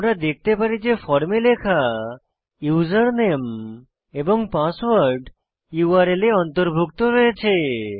আমরা দেখতে পারি যে ফর্মে লেখা ইউজারনেম এবং পাসওয়ার্ড ইউআরএল এ অন্তর্ভুক্ত রয়েছে